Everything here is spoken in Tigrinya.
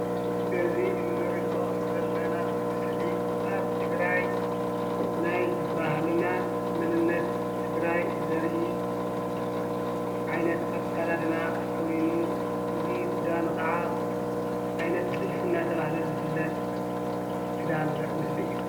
እዚ እንሪኦ ዘለና ምስሊ ኣብ ትግራይ ናይ ባህሊና መንነት ትግራይ ዘርኢ ዓይነት ኣከዳድና ኮይኑ ፍሉይ ክዳኑ ካዓ ዓይነ ጥልፊ እናተባሃለ ዝፍለጥ ክዳን ዘርኢ ምስሊ እዩ።